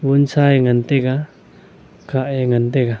wunsa e ngan taga kha e ngan taga.